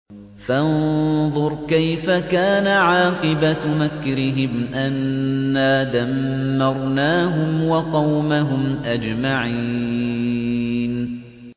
فَانظُرْ كَيْفَ كَانَ عَاقِبَةُ مَكْرِهِمْ أَنَّا دَمَّرْنَاهُمْ وَقَوْمَهُمْ أَجْمَعِينَ